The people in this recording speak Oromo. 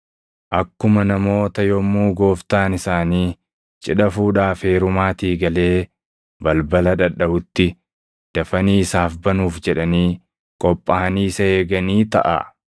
akkuma namoota yommuu Gooftaan isaanii cidha fuudhaa fi heerumaatii galee balbala dhadhaʼutti dafanii isaaf banuuf jedhanii qophaaʼanii isa eeganii taʼaa.